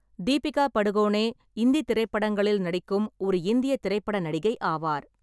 தீபிகா படுகோனே இந்தித் திரைப்படங்களில் நடிக்கும் ஒரு இந்தியத் திரைப்பட நடிகை ஆவார்.